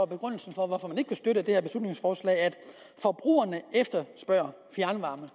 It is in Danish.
begrundelsen for hvorfor man ikke vil støtte det her beslutningsforslag at forbrugerne efterspørger fjernvarme